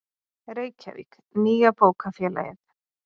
Reykjavík, Nýja bókafélagið.